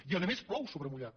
i a més plou sobre mullat